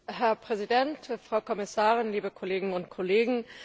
Herr Präsident, Frau Kommissarin, liebe Kolleginnen und Kollegen!